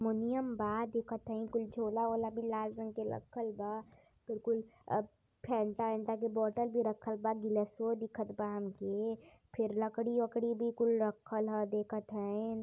मोनियम बा दिखत हई। कुल झोला ओला भी लाल रंग के लखल बा बिड़कुल अ फेंटा एन्टा के बोटल भी रखल बा गिलसवओ दिखत बा हमके। फेर लकड़ी अकड़ी भी कुल रखल ह देखत हाईन्।